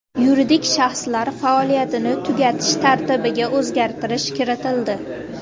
Yuridik shaxslar faoliyatini tugatish tartibiga o‘zgartish kiritildi.